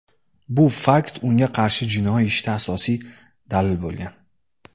Bu fakt unga qarshi jinoiy ishda asosiy dalil bo‘lgan.